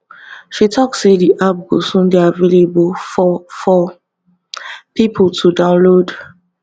she tok say di app go soon dey available for for pipo to download